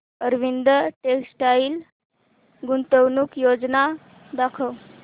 Arvind textile गुंतवणूक योजना दाखव